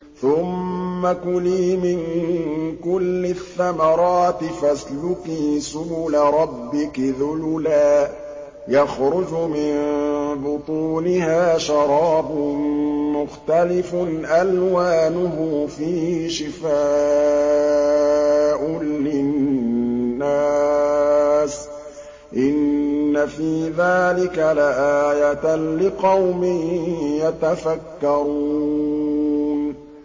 ثُمَّ كُلِي مِن كُلِّ الثَّمَرَاتِ فَاسْلُكِي سُبُلَ رَبِّكِ ذُلُلًا ۚ يَخْرُجُ مِن بُطُونِهَا شَرَابٌ مُّخْتَلِفٌ أَلْوَانُهُ فِيهِ شِفَاءٌ لِّلنَّاسِ ۗ إِنَّ فِي ذَٰلِكَ لَآيَةً لِّقَوْمٍ يَتَفَكَّرُونَ